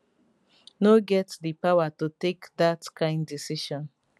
no get di power to take dat dat kain decision